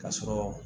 Ka sɔrɔ